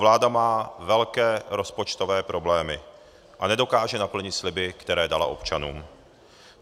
Vláda má velké rozpočtové problémy a nedokáže naplnit sliby, které dala občanům.